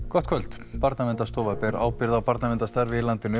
gott kvöld Barnaverndarstofa ber ábyrgð á barnaverndarstarfi í landinu